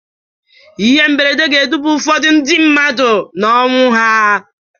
Ihe mberede ga-eduba ụfọdụ ndị mmadụ n'ọnwụ ha.